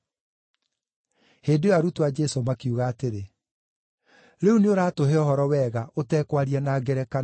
Hĩndĩ ĩyo arutwo a Jesũ makiuga atĩrĩ, “Rĩu nĩũratũhe ũhoro wega, ũtekwaria na ngerekano.